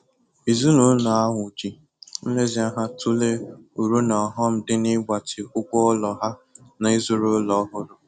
Ezinụlọ ahụ ji nlezianya tụlee uru na ọghọm dị n'ịgbatị ụgwọ ụlọ ha na ịzụrụ ụlọ ọhụrụ.